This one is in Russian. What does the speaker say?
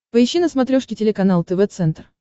поищи на смотрешке телеканал тв центр